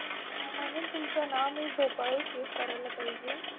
म्हणून तुमचं नाव मी झोपाळू Save करायला पाहिजे.